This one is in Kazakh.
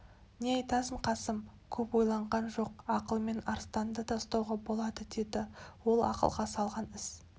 не айтасың қасым көп ойланған жоқ ақылмен арыстанды да ұстауға болады деді ол ақылға салған іс